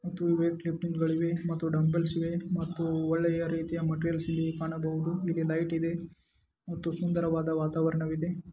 ಮತ್ತು weight lifting ಗಳಿವೆ ಮತ್ತು ಡಂಬಲ್ ಇವೆ ಮತ್ತು ಒಳ್ಳೆಯ ರೀತಿಯ ಮೆಟೀರಿಯಲ್ಸ್ ಇಲ್ಲಿ ಕಾಣಬಹುದು ಇಲ್ಲಿ ಲೈಟ್ ಇದೆ ಮತ್ತು ಸುಂದರವಾದ ವಾತಾವರಣವಿದೆ.